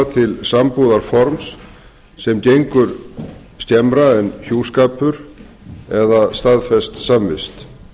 stofna til sambúðarforms sem gengur skemmra en hjúskapur eða staðfest samvist